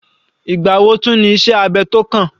Ìgbà wo tún ní iṣẹ́ abẹ tó kàn?